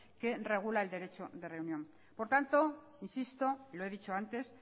que regula el derecho de reunión por lo tanto insisto lo he dicho antes